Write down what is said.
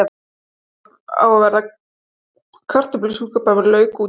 Það á að vera kartöflusúpa með lauk út í.